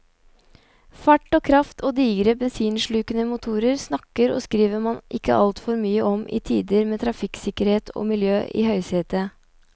Fart og kraft og digre bensinslukende motorer snakker og skriver man ikke altfor mye om i tider med trafikksikkerhet og miljø i høysetet.